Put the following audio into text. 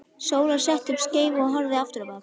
Sóla setti upp skeifu og hörfaði aftur á bak.